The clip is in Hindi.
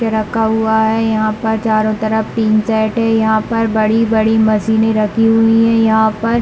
रखा हुआ है यहाँ पे चारो तरफ टिन सेट है यहाँ पर बड़ी-बड़ी मशीन रखी हुई है यहाँ पर--